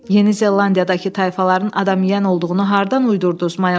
Yeni Zelandiyadakı tayfaların adam yeyən olduğunu hardan uydurduz?